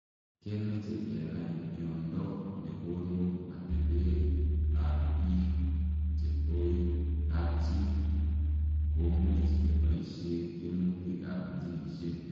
Kemeche kenai miondoo nekonuu atepee ap piik chepoi kapchii komuuch kepaishee tuemutik ap jinisiek